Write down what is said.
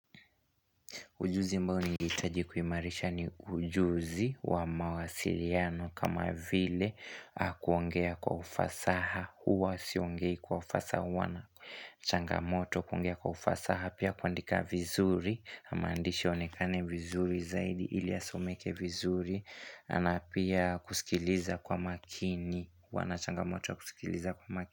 Ujuzi ombao nilihitaji kuimarisha ni ujuzi wa mawasiliano kama vile kuongea kwa ufasaha huwa siongei kwa ufasaha wana changamoto kuongea kwa ufasaha pia kuandika vizuri na maandishi yaonekane vizuri zaidi ili asomeke vizuri ana pia kusikiliza kwa makini wana changamoto kusikiliza kwa makini.